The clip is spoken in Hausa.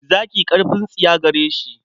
Zaki ƙarfin tsiya gare shi.